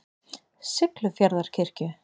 Siglufjarðarkirkju